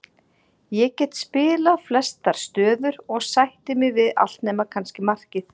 Ég get spilað flestar stöður og sætti mig við allt nema kannski markið.